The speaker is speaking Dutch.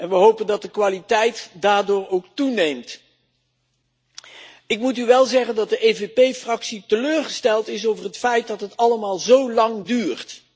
We hopen dat de kwaliteit daardoor ook toeneemt. Ik moet u wel zeggen dat de EVP-fractie teleurgesteld is over het feit dat het allemaal zo lang duurt.